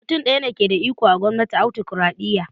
Mutum ɗaya ke da iko a gwamnatin autokraɗiyya